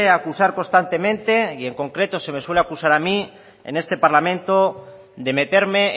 acusar constantemente y en concreto se me suele acusar a mí en este parlamento de meterme